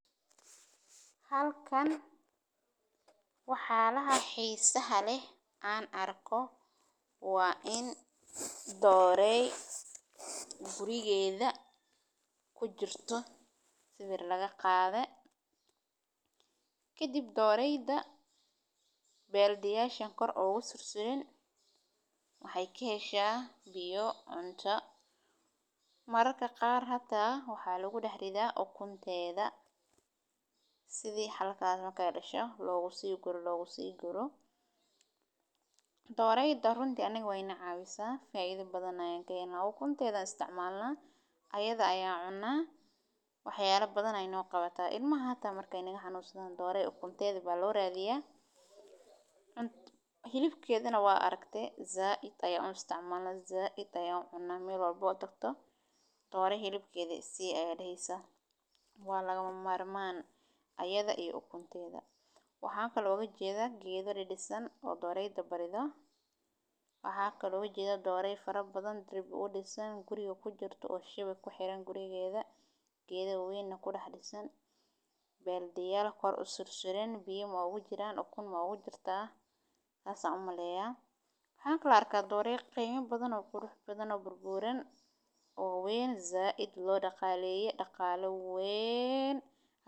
Halkaan waxyaalaha xiisaha leh aan arko waa in doorooy gurigeeda ku jirto, sawir laga qaaday. Kadib, doorooyda baldiyadda korkooda ugu suran waxay ka heshaa biyo, cunto, mararka qaar xitaa maxaa lagu daadsadaa ukunta. Sida halka xabo ay dhasho lagu sii guro, lagu sii guro. Doorooyda runtii annaga way na caawisaa, faa’iido badan ayaan ka helnaa. Ukunteeda ayaan isticmaalnaa, ayaa la cunaa. Waxyaalo badan ayey nooga faa’iideysaa. Ilmaha xitaa marka ay naga xanuunsadaan doorooyda ukunteeda ayaa loo raadiyaa. Hilibkeedana waan aragnay, aad ayaan u isticmaalnaa, aad ayaan u cunaa. Meel walba aad tagto doorooy hilibkeeda 'isii' ayaad leedahay. Waa lama huraan ayaa la yiraahdaa ukunteeda iyo hilibkeeda. Waxaan kale oo aan u jeedaa geedo dhis-dhisan oo doorooydu bartaa. Waxaa kale oo aan u jeedaa dooro faro badan, derbi u dhisan guriga ku jirto oo shabaq ku xiran, gurigeeda gadaal weynna ku dhisan. Baldiyo korkooda u suran biyo ma ugu jiraa? Ukun ma ugu jirtaa? Saas ayaan u malaynayaa. Waxaan kale oo aan arkaa dooro qiimo badan oo qurux badan, oo buuran, oo weyn, aad loo dhaqaaleyay, dhaqaalaha weyn.